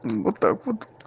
вот так вот